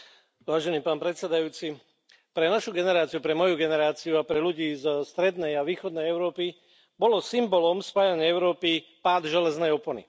Vážený pán predsedajúci, pre našu generáciu, pre moju generáciu a pre ľudí zo strednej a východnej Európy bolo symbolom spájanej Európy pád železnej opony.